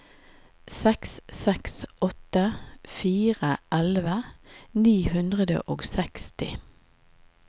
seks seks åtte fire elleve ni hundre og seksti